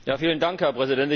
Herr Präsident!